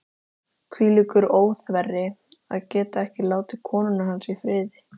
Hvílíkur óþverri, að geta ekki látið konuna manns í friði.